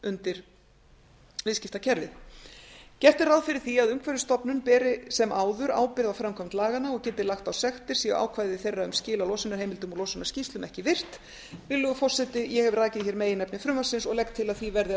undir viðskiptakerfið gert er ráð fyrir því að umhverfisstofnun beri sem áður ábyrgð á framkvæmd laganna og geti lagt á sektir séu ákvæði þeirra um skil á losunarheimildum og losunarskýrslum ekki virt virðulegur forseti ég hef rakið hér meginefni frumvarpsins og legg til að því verði að